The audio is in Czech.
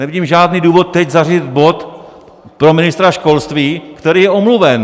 Nevidím žádný důvod teď zařadit bod pro ministra školství, který je omluven.